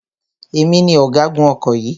Èmi ni ọ̀gágun ọkọ̀ yìí.